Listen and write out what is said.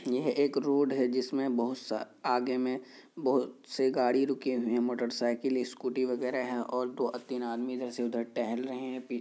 यह एक रोड हैं जिस में बहुत से आगे में बहुत से गाड़ी रुके हुए हैं मोटरसाइकिल स्कूटी वगेरे हैं और दो आ तीन आदमी इधर से उधर टहल रहे हैं। पी--